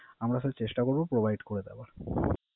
আমরা স্যার চেষ্টা করব Provide করে দেয়ার